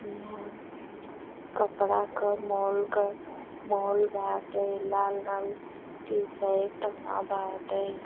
इहाँ कपड़ा क मॉल क मॉल बाटे। लाल रंग के टी-शर्ट बाटे।